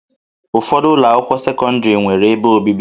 Ụfọdụ ụlọ akwụkwọ sekọndrị nwere ebe obibi